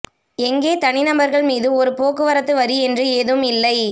எங்கே தனிநபர்கள் மீது ஒரு போக்குவரத்து வரி என்று ஏதும் இல்லை